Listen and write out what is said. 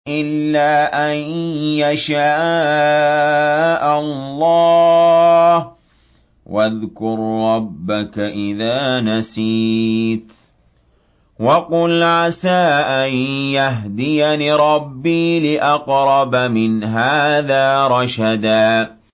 إِلَّا أَن يَشَاءَ اللَّهُ ۚ وَاذْكُر رَّبَّكَ إِذَا نَسِيتَ وَقُلْ عَسَىٰ أَن يَهْدِيَنِ رَبِّي لِأَقْرَبَ مِنْ هَٰذَا رَشَدًا